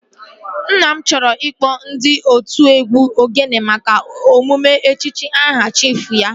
Nna m chọrọ ịkpọ ndị otụ egwu ogene maka emume echichi aha chiifu ya